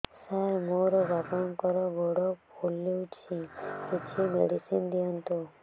ସାର ମୋର ବାପାଙ୍କର ଗୋଡ ଫୁଲୁଛି କିଛି ମେଡିସିନ ଦିଅନ୍ତୁ